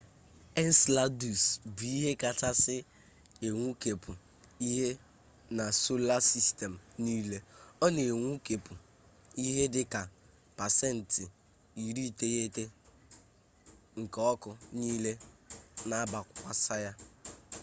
enseladus bụ ihe kachasị enwukepụ ihe na sola sistem niile ọ na-enwukepụ ihe dị ka pasent 90 nke ọkụ niile na-abịakwasa ya